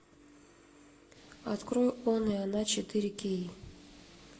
открой он и она четыре кей